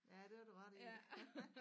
Ja det har du ret i